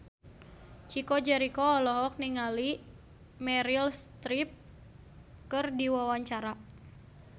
Chico Jericho olohok ningali Meryl Streep keur diwawancara